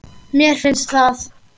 Mér finnst það.